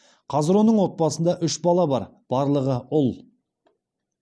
қазір оның отбасында үш бала бар барлығы ұл